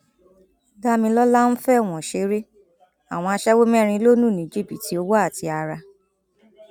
damimora ń fọwọn ṣeré àwọn aṣẹwó mẹrin ló lù ní jìbìtì owó àti ara